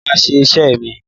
Mo máa ṣe iṣẹ́ mi.